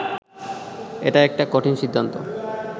এটা একটা কঠিন সিদ্ধান্ত